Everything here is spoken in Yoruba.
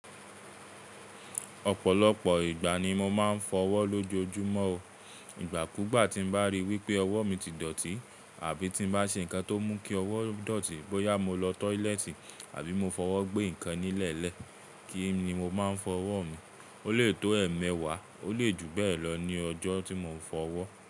Ọ̀pọ̀lọpọ̀ ìgbà ni mo máa ń fọwọ́ lójoojúmọ́ o. Ìgbà kú gbà tí mo bá ríi wípé ọwọ́ mi ti dọ̀tí, àbí tí n bá ṣe nǹkan tó mú kí ọwọ́ dọ̀tí, bóyá mo lọ toiletì, àbí mo fọwọ́ gbé ǹkan nílẹ̀lẹ́, kí ni mo máa ń fọwọ́ mi, ó lè tó ẹ̀mẹwàá, ó lè ju bẹ́ẹ̀ lọ ní ọjọ́ tí mo ń fọwọ́.